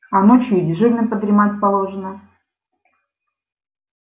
а ночью и дежурным подремать положено